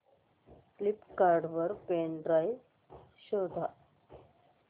Flipkart वर pen drive शोधा